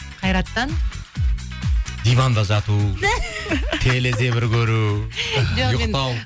қайраттан диванда жату көру ұйықтау